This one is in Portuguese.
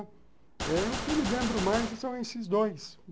O que eu me lembro mais são esses dois.